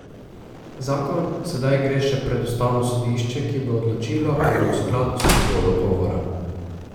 Zakon sedaj gre še pred ustavno sodišče, ki bo odločilo, ali je v skladu s svobodo govora.